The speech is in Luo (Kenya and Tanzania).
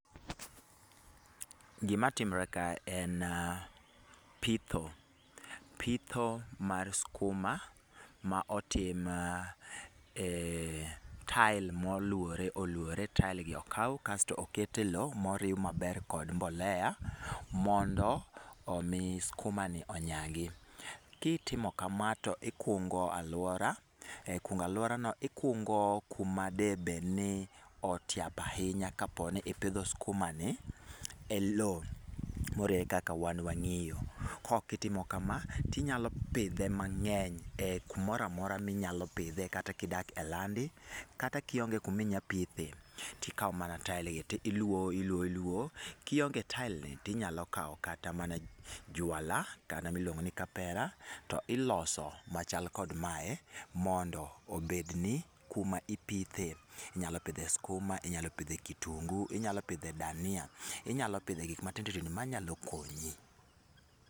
Gimatimore kae en pitho, pitho mar skuma, ma otim eh tael ma oluore oluore. Tael gi okaw tokete lowo moriw maber kod mbolea mondo omi skumani onyagi. Kitimo kama to ikungo aluora , e kungo aluorano ikungo kuma da bedni otiap ahinya kapo ni ipidho skumani elo moriere kaka wan wang'iyo. Kokitimo kama, tinyalo pidhe mang'eny e kumoro amora minyalo pidhe kata kidak e landi, kata kionge kuma inya pithe, tikawo mana tael gi tiluowo, iluowo, iluowo. Kionge taelgi tinyalo kawo kata mana jwala, jwalano miluongo ni kapera to iloso machal kod mae mondo obedni kuma ipithe. Inyalo pidhe skuma, inyalo pidhe kitungu, inyalo pidhe dania, inyalo pidhe gik matindo tindo manyalo konyi.